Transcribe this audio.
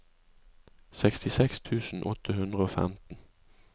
sekstiseks tusen åtte hundre og femten